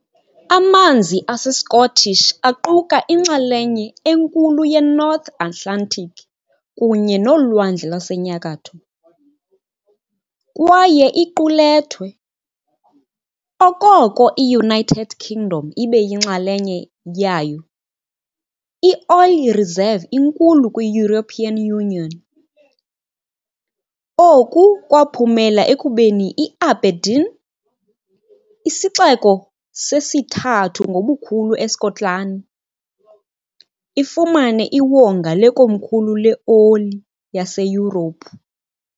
Amanzi aseScottish aquka inxalenye enkulu yeNorth Atlantic kunye noLwandle lwaseNyakatho, kwaye iqulethwe, okoko i-United Kingdom ibe yinxalenye yayo, i-oil reserve inkulu kwi- European Union, oku kwaphumela ekubeni iAberdeen, isixeko sesithathu ngobukhulu eSkotlani, ifumane iwonga lekomkhulu leoli laseYurophu.